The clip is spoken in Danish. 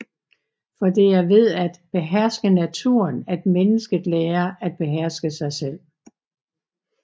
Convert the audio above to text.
For det er ved at beherske naturen at mennesket lærer at beherske sig selv